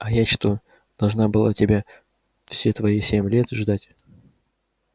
а я что должна была тебя все твои семь лет тебя ждать